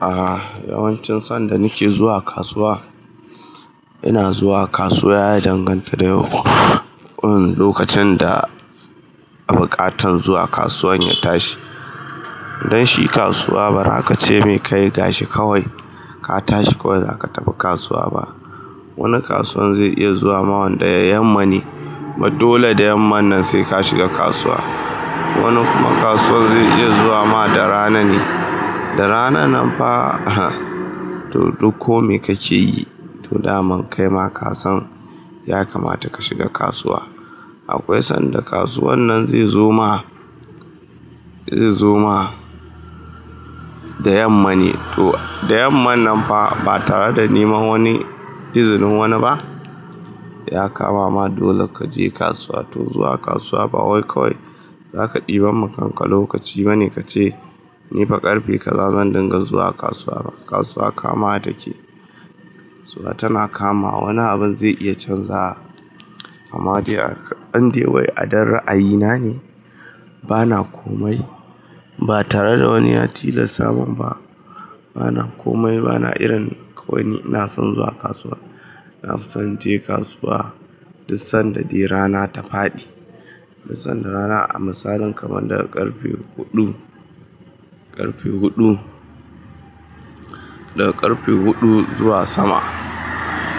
Ah, yawancin sanda nake zuwa kasuwa, ina zuwa kasuwa ya dangantaka lokacin da bukatan zuwa kasuwan ya tashi. Don shi kasuwa ba zaka ce mai kai gashi kawai ka tashi kawai zaka tafi kasuwa ba. Wani kasuwan zai iya zuwa ma wanda yamma ne, kuma dole da yamma nan sai ka shiga kasuwa. Wani kuma kasuwan zai iya zuwa ma da rana ne, da rana nan fa to duk kome kace yi to dama kai ma kasan ya kamata ka shiga kasuwa. Akwai sanda kasuwan nan zai zo ma, zai zo ma da yamma ne to da yamma nan fa ba tare da neman wani izinin wani ba, ya kama ma dole kaje kasuwa. To zuwa kasuwa ba wai kawai zaka ɗiban ma kanka lokaci bane kace nifa ƙarfe kaza zan dinga zuwa kasuwa ba. Kasuwa kama take, kasuwa tana kama. Wani abun zai iya canzawa, amma dai a indai wai a dan ra'ayina ne bana komai, ba tare da wani ya tilasa mun ba. Bana komai bana irin wani na son zuwa kasuwa. Na fi son je kasuwa duk sanda dai rana ta faɗi. Duk sanda rana a misalin kamar daga ƙarfe huɗu, ƙarfe huɗu, daga ƙarfe huɗu zuwa sama.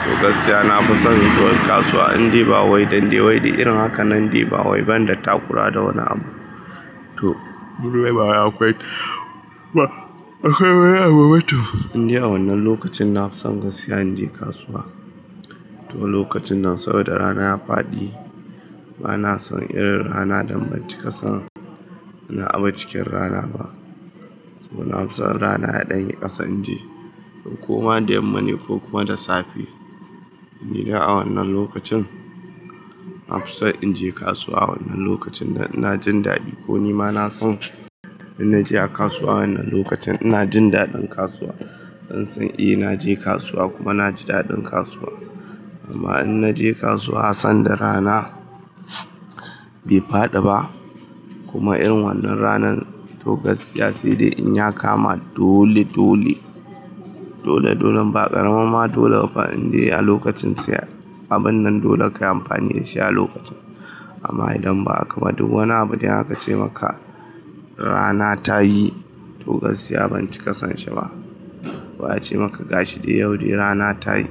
To gaskiya na fi son zuwa kasuwa in dai ba wai dan dai wai din irin haka na dai ba wai ban da takura da wani abu. To akwai wani abu ba toh. Indai a wannan lokacin na fi son gaskiya in je kasuwa. To lokacin nan saboda rana ya faɗi. Bana son irin rana da ban cika son ina abu cikin rana ba. To na fi son in rana ya ɗan yi ƙasan in je, in koma da yamma ne ko kuma da safe. Ni dai a wannan lokacin, na fi son in je kasuwa wannan lokacin da ina jin daɗi ko ni ma na san in naje a kasuwa a wannan lokacin ina jin daɗin kasuwa. An san eh naje kasuwa kuma na ji daɗin kasuwa. Amma in naje kasuwa sanda rana bai faɗi ba kuma irin wannan ranan to gaskiya sai dai in ya kama dole dole. Dole dolen ba ƙaramar ma dole ba fa indai a lokacin sai abun nan dole kayi amfani da shi a lokacin. Amma idan ba a kama duk wani abu dai aka ace maka rana ta yi to gaskiya ban cika son shi ba. Wa ya ce maka gashi dai yau dai rana ta yi?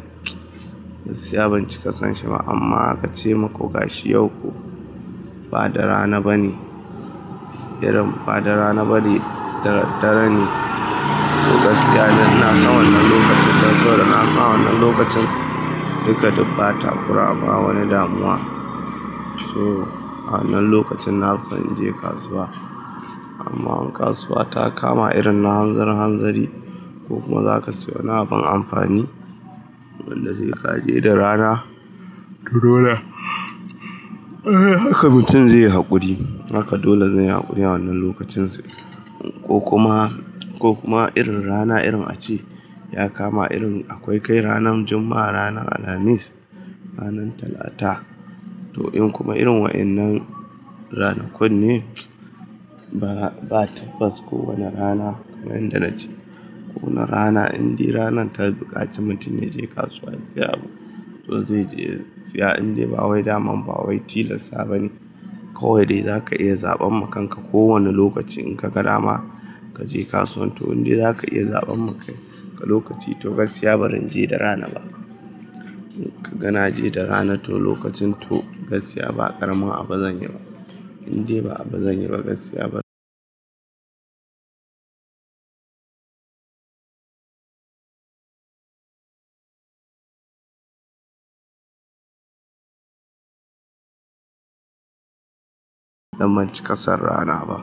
Gaskiya ban cika son shi ba amma aka ce muku gashi yau ko ba da rana bane. Irin ba da rana bane da daddare ne. To gaskiya dai ina son wannan lokacin, dan saboda kasan a wannan lokacin duka duk ba takura ba wani damuwa. Toh a wannan lokacin na fi son in je kasuwa. Amma in kasuwa ta kama irin na hanzari hanzari ko kuma zaka saye wani abun amfani, abunda zai ƙare da rana, toh dole haka mutum zai yi haƙuri. Haka dole zan yi hakuri wannan lokacin sa ko kuma, ko kuma irin rana irin a ce ya kama irin akwai kai ranan Juma'a, ranan Alhamis, ranan Talata. To in kuma irin wa'innan ranakun ne? Ba, ba tabbas kowane rana kamar yadda na ce. Ko wane rana indai ranan ta buƙaci mutum ya je kasuwa ya siya abu. To zai je siya indai ba wai daman ba wai tilasta bane. Kawai dai zaka iya zaɓan ma kanka ko wane lokaci in ka ga dama kaje kasuwa. To indai zaka iya zaɓan maka lokaci to gaskiya ba zan je da rana ba. In ka gana je da rana to lokacin to gaskiya ba ƙaramin abu zan yi ba. Indai ba abu zan yi ba gaskiya ba dan ban cika son rana ba.